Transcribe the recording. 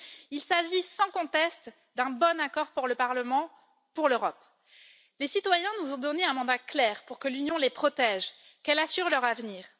Il s'agit, sans conteste, d'un bon accord pour le Parlement, pour l'Europe. Les citoyens nous ont donné un mandat clair pour que l'Union les protège et qu'elle assure leur avenir.